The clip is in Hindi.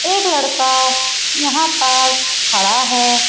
एक लड़का यहाँ पर खड़ा है ।